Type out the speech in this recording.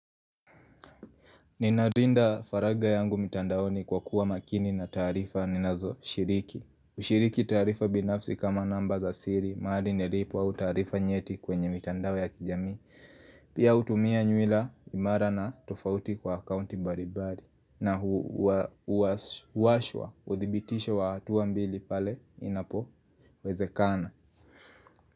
Ninarinda faraja yangu mitandaoni kwa kuwa makini na taarifa ninazoshiriki. Hushiriki taarifa binafsi kama namba za siri mahari nilipo au taarifa nyeti kwenye mitandao ya kijamii. Pia hutumia nywila imara na tofauti kwa akaunti mbaribari. Na huwashwa uthibitisho wa hatuambili pale inapowezekana.